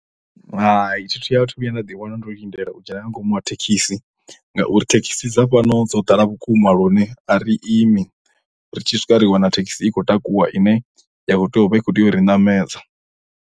Hai thi a thu vhuya nda ḓi wana ndo lindela u dzhena nga ngomu ha thekhisi ngauri thekhisi dza fhano dzo ḓala vhukuma lune a ri imi ri tshi swika ri wana thekhisi i khou takuwa ine ya khou tea u vha i khou tea u ri ṋamedza.